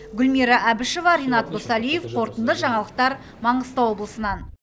гүлмира әбішева ренат досалиев қорытынды жаңалықтар маңғыстау облысынан